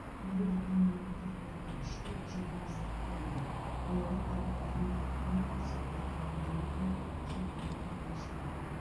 елу бір камераның қырық төрті іште жетеуі сыртта деді балалар арнайы әлеуметтік көмек көрсету орталығының директоры шолпан макашева